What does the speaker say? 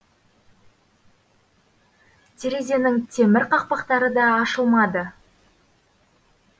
терезенің темір қақпақтары да ашылмады